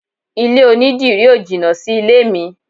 Ilé onidírì ó jìnà sí ilé mi.